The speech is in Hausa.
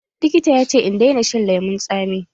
Likita ya ce in daina shan lemun tsami.